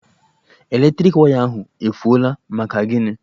Eletriki waya ahụ efuọla, maka gini?